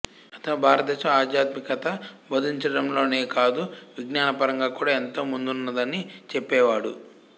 అతను భారతదేశం ఆధ్యాత్మికత బోధించడంలోనే కాదు విజ్ఞాన పరంగా కూడా ఎంతో ముందున్నదని చెప్పేవాడు